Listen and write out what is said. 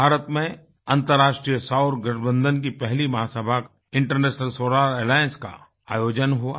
भारत में अन्तर्राष्ट्रीय सौर गठबंधन की पहली महासभा इंटरनेशनल सोलार एलायंस का आयोजन हुआ